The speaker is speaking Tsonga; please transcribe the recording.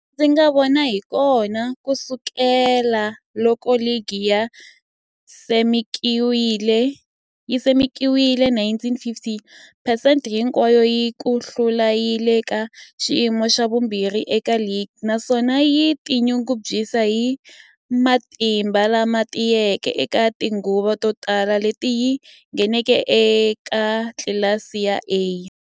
Ndzi nga vona hakona, ku sukela loko ligi yi simekiwile 1950, phesente hinkwayo ya ku hlula yi le ka xiyimo xa vumbirhi eka ligi, naswona yi tinyungubyisa hi matimba lama tiyeke eka tinguva to tala leti yi ngheneke eka tlilasi ya A.